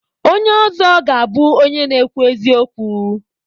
Onye ọzọ ga-abụ onye na-ekwu eziokwu.